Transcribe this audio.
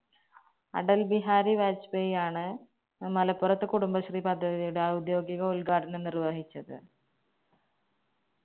അടൽ ബിഹാരി വാജ്‌പേയിയാണ് മലപ്പുറത്ത് കുടുംബശ്രീ പദ്ധതിയുടെ ഔദ്യോഗിക ഉത്ഘാടനം നിർവഹിച്ചത്.